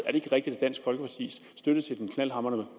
ikke rigtigt at dansk folkepartis støtte til den knaldhamrende